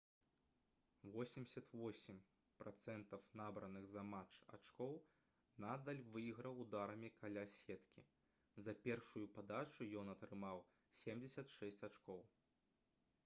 88% набраных за матч ачкоў надаль выйграў ударамі каля сеткі за першую падачу ён атрымаў 76 ачкоў